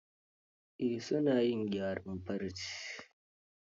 Eh, su na yin gyaran farce.